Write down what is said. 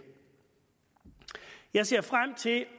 jeg ser frem til at